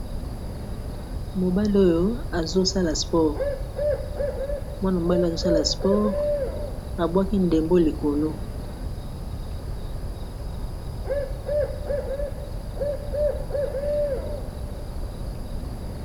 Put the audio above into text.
mobale oyo azosala sport mwana mobale oyo azosala sport abwaki ndembo likolo